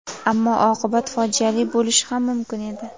Ammo oqibat fojiali bo‘lishi ham mumkin edi.